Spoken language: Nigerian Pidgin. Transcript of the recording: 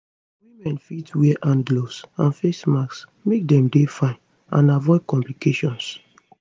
women fit wear hand gloves and face masks make dem dey fine and avoid complications